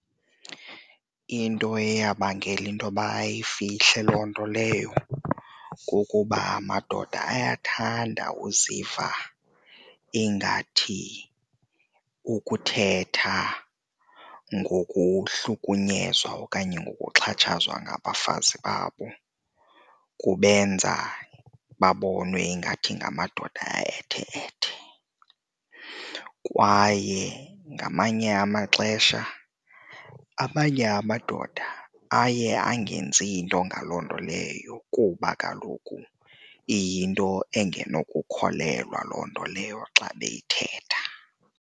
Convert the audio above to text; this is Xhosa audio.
Into eyabangela intoba bayifihle loo nto leyo kukuba amadoda ayathanda uziva ingathi ukuthetha ngokuhlukunyezwa okanye ngokuxhatshazwa ngabafazi babo kubenza babonwe ingathi ngamadoda aethe-ethe. Kwaye ngamanye amaxesha amanye amadoda aye angenzi nto ngaloo nto leyo kuba kaloku iyinto engenokukholelwa loo nto leyo xa beyithetha.